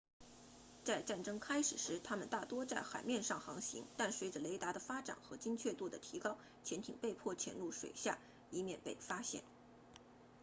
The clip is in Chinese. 在战争开始时它们大多在海面上航行但随着雷达的发展和精确度的提高潜艇被迫潜入水下以免被发现